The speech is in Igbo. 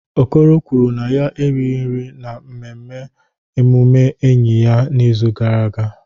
Okoro kwuru na ya erighị nri n'ememme mmemme ọmụmụ enyi ya n'izu gara aga.